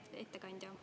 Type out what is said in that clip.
Hea ettekandja!